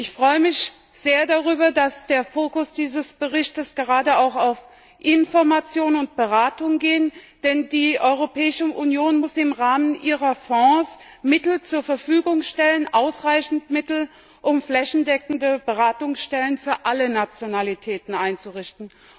Ich freue mich sehr darüber, dass der Fokus dieses Berichts gerade auch auf Information und Beratung geht, denn die Europäische Union muss im Rahmen ihrer Fonds ausreichend Mittel zur Verfügung stellen, um flächendeckende Beratungsstellen für alle Nationalitäten einzurichten.